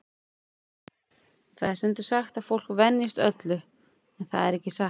Það er stundum sagt að fólk venjist öllu, en það er ekki satt.